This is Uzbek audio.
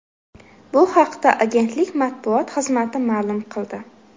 Bu haqda agentlik matbuot xizmati ma’lum qildi.